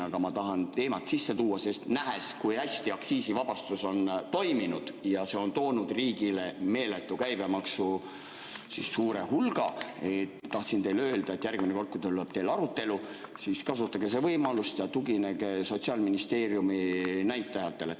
Aga ma tahan teemat sisse tuua, sest nähes, kui hästi aktsiisivabastus on toiminud, et see on toonud riigile meeletu käibemaksu hulga, tahtsin teile öelda, et järgmine kord, kui teil tuleb arutelu, siis kasutage võimalust ja tuginege Sotsiaalministeeriumi näitajatele.